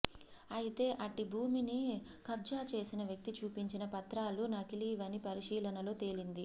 అయితే అట్టి భూమిని కబ్జాచేసిన వ్యక్తి చూపించిన పత్రాలు నకిలీవని పరిశీలనలో తేలింది